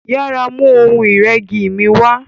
yàrá mú Ohun ìrẹ́gi mí wá.